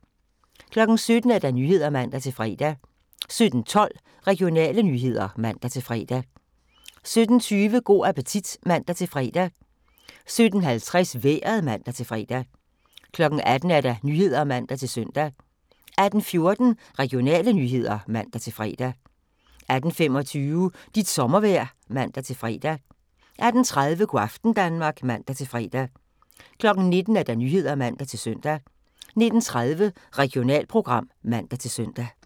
17:00: Nyhederne (man-fre) 17:12: Regionale nyheder (man-fre) 17:20: Go' appetit (man-fre) 17:50: Vejret (man-fre) 18:00: Nyhederne (man-søn) 18:14: Regionale nyheder (man-fre) 18:25: Dit sommervejr (man-fre) 18:30: Go' aften Danmark (man-fre) 19:00: Nyhederne (man-søn) 19:30: Regionalprogram (man-søn)